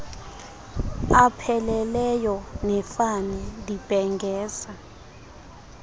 apheleleyo nefani ndibhengeza